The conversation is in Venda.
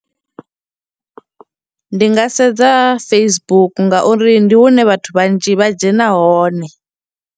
Ndi nga sedza Facebook ngauri ndi hune vhathu vhanzhi vha dzhena hone.